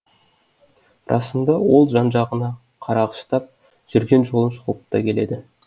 расында ол жан жағына қарағыштап жүрген жолын шолып та келеді